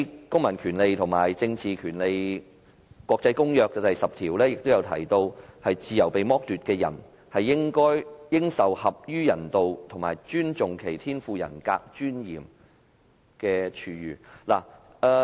《公民權利和政治權利國際公約》第十條也提到，"自由被剝奪之人，應受合於人道及尊重其天賦人格尊嚴之處遇"。